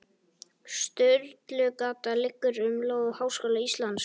Sturlugata liggur um lóð Háskóla Íslands.